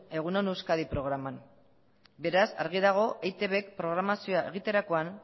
egun on euskadi programan beraz argi dago eitbk programazioa egiterakoan